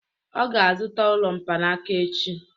Ọ ga-azụta ụlọ mkpanaka echi